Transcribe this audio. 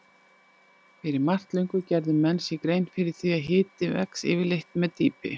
Fyrir margt löngu gerðu menn sér grein fyrir því að hiti vex yfirleitt með dýpi.